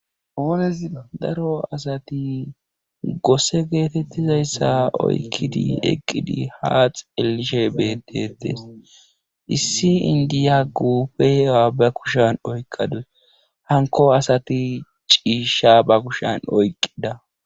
Daro asat gose getetizaysa oykid eqid ha xeelishe betetes, issi indiya quphiya ba kushan oykadus , hanko asati ciisha ba kushan oyqida.